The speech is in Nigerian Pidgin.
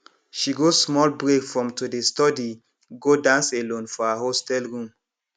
she go small break from to dey study go dance alone for her hostel room